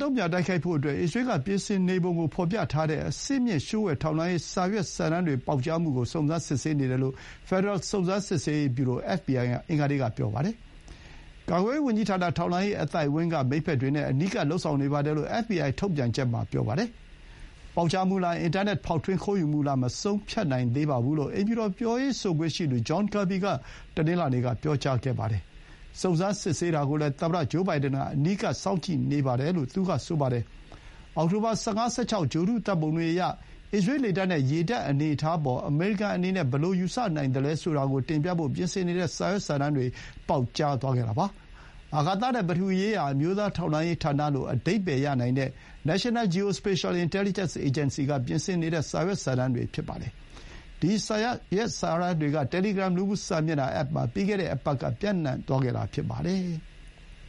တုံ့ပြန် တိုက်ခိုက်ဖို့အတွက် အစ္စရေးက ပြင်ဆင်နေပုံကို ဖော်ပြထားတဲ့ အဆင့်မြင့် လျှို့ဝှက် ထောက်လှမ်းရေးစာရွက်စာတမ်းတွေ ပေါက်ကြားမှုကို စုံစမ်းစစ်ဆေးနေတယ်လို့ ဖက်ဒရယ် စုံစမ်းစစ်ဆေးရေး ဗျူရို FBI က အင်္ဂါနေ့က ပြောပါတယ်။ ကာကွယ်ရေးဝန်ကြီးဌာန၊ ထောက်လှမ်းရေး အသိုက်အဝန်းက မိတ်ဘက်တွေနဲ့ အနီးကပ် လုပ်ဆောင် နေပါတယ်လို့ အက်ဖ်ဘီအိုင် ထုတ်ပြန်ချက် မှာ ပြောပါတယ်။ ပေါက်ကြားမှုလား၊ အင်တာနက် ဖောက်ထွင်း ခိုးယူမှုလား မဆုံးဖြတ်နိုင်သေးပါဘူးလို့ အိမ်ဖြူတော် ပြောရေးဆိုခွင့်ရှိသူ John Kirby က တနင်္လာနေ့က ပြောပါတယ်။ စုံစမ်းစစ်ဆေးတာကိုလည်း သမ္မတ ဂျိုးဘိုင်ဒန်က အနီးကပ် စောင့်ကြည့်နေပါတယ်လို့ သူက ဆိုပါတယ်။ အောက်တိုဘာ ၁၅-၁၆ ဂြိုဟ်တု ဓာတ်ပုံတွေအရ၊ အစ္စရေး လေတပ်နဲ့ ရေတပ် အနေအထားအပေါ် အမေရိကန်အနေနဲ့ ဘယ်လို ယူဆနိုင်သလဲ ဆိုတာကို တင်ပြဖို့ ပြင်ဆင်နေတဲ့ စာရွက်စာတမ်းတွေ ပေါက်ကြားသွားခဲ့တာ ဖြစ်ပါတယ်။ အာကာသနဲ့ ပထဝီရေးရာ အမျိုးသား ထောက်လှမ်းရေး ဌာနလို့ အဓိပ္ပါယ် ရနိုင်တဲ့ National Geospatial-Intelligence Agency က ပြင်ဆင်နေတဲ့ စာရွက်စာတမ်းတွေ ဖြစ်ပါတယ်။ ဒီ စာရွက်စာတမ်းတွေက Telegram လူမှု စာမျက်နှာ အက်ပ်မှာ ပြီးခဲ့တဲ့ အပတ်က ပျံ့နှံ့သွားခဲ့တာ ဖြစ်ပါတယ်။